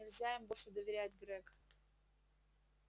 нельзя им больше доверять грег